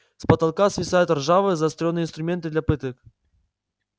с потолка свисают ржавые заострённые инструменты для пыток